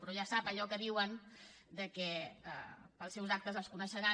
però ja sap allò que diuen que pels seus actes els coneixeran